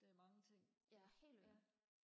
det er mange ting ja ja